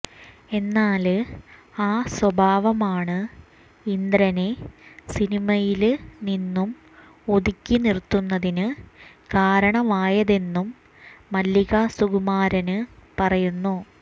എന്നാല് ആ സ്വഭാവമാണ് ഇന്ദ്രനെ സിനിമയില് നിന്നും ഒതുക്കി നിര്ത്തുന്നതിന് കാരണമായതെന്നും മല്ലിക സുകുമാരന് പറയുന്നു